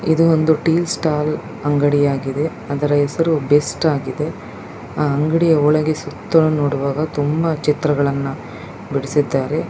ಇದು ಒಂದು tea stall ಅಂಗಡಿ. ಅದರ ಬೆಸ್ಟ್ ಆಗಿದೆ ಅದರ ಸುತ್ತಲೂ ನೋಡಲು ಬಿಡಿಸಿದ್ದಾರೆ .